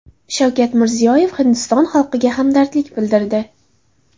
Shavkat Mirziyoyev Hindiston xalqiga hamdardlik bildirdi.